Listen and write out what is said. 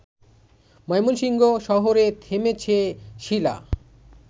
ময়মনসিংহ শহরে থেমেছে শীলা